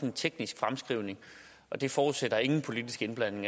en teknisk fremskrivning og det forudsætter at der ingen politisk indblanding